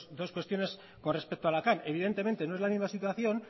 dos cuestiones con respecto a la cam evidentemente no es la misma situación